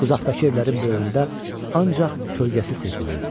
Uzaqdakı evlərin böyründə ancaq kölgəsi sezilirdi.